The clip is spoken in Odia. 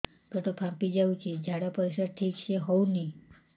ପେଟ ଫାମ୍ପି ଯାଉଛି ଝାଡ଼ା ପରିସ୍ରା ଠିକ ସେ ହଉନି